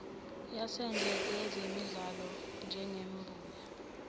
yasendle ezimilelayo njengembuya